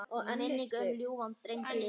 Minning um ljúfan dreng lifir.